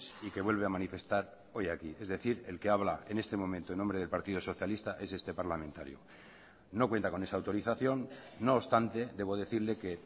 y que vuelve a manifestar hoy aquí es decir el que habla en este momento en nombre del partido socialista es este parlamentario no cuenta con esa autorización no obstante debo decirle que